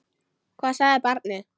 Hvað sagði barnið?